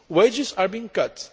Wages are being cut.